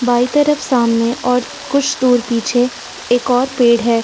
बाईं तरफ सामने ओर कुछ दूर पीछे एक और पेड़ है।